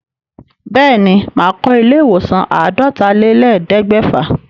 Bẹ́ẹ̀ ní, màá kọ ilé ìwòsàn àádọ́talélẹ̀ẹ́dẹ́gbẹ̀fà.